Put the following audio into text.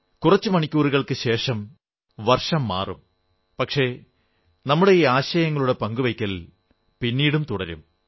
കുറച്ചു മണിക്കൂറുകൾക്കു ശേഷം വർഷം മാറും പക്ഷേ നമ്മുടെ ഈ ആശയങ്ങളുടെ പങ്കുവയ്ക്കൽ പിന്നീടും തുടരും